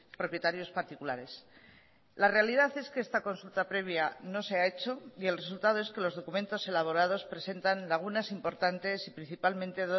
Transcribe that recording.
propietarios particulares la realidad es que esta consulta previa no se ha hecho y el resultado es que los documentos elaborados presentan lagunas importantes y principalmente